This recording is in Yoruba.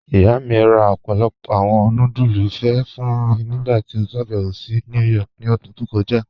Iyá mi rá ọ̀pọ̀lọ́pọ̀ awọn núdúlù ìfé́ fún mí nígbàtí ó ṣàbẹ̀wò sí New York ní òdún tó kọja.